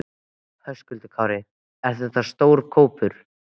Höskuldur Kári: Er þetta stór hópur?